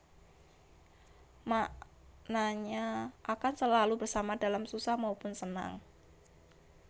Maknanya akan selalu bersama dalam susah maupun senang